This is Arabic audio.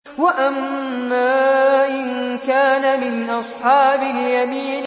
وَأَمَّا إِن كَانَ مِنْ أَصْحَابِ الْيَمِينِ